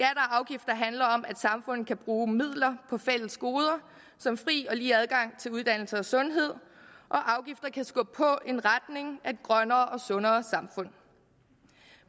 afgifter handler om at samfundet kan bruge midler på fælles goder som fri og lige adgang til uddannelse og sundhed og afgifter kan skubbe på i retning af et grønnere og sundere samfund